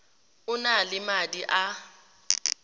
o na le madi a